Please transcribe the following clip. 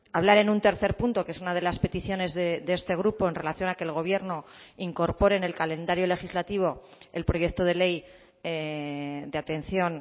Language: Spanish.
hablar en un tercer punto que es una de las peticiones de este grupo en relación a que el gobierno incorpore en el calendario legislativo el proyecto de ley de atención